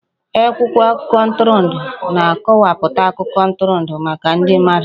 Akwụkwọ akụkọ ntụrụndụ na-akọwapụta akụkọ ntụrụndụ maka ndị mmadụ